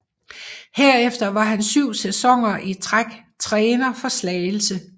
Herefter var han syv sæsoner i træk træner for Slagelse